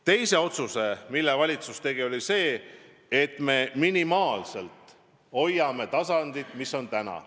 Teine otsus, mille valitsus tegi, oli see, et me minimaalselt hoiame taset, mis on praegu.